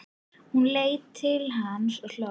Hún leit til hans og hló.